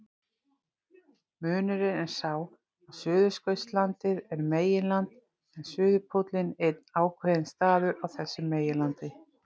Munurinn er sá að Suðurskautslandið er meginland en suðurpóllinn einn ákveðinn staður á þessu meginlandi.